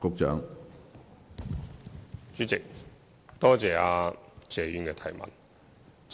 主席，多謝謝議員的質詢。